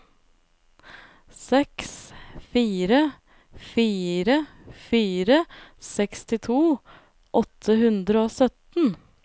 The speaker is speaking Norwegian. seks fire fire fire sekstito åtte hundre og sytten